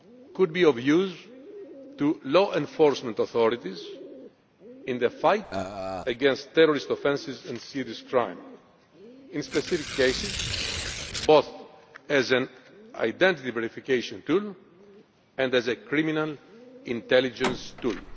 exit could be of use to law enforcement authorities in the fight against terrorist offences and serious crime in specific cases both as an identity verification tool and as a criminal intelligence tool.